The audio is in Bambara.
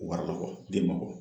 O wariko fɔ den ma bɔ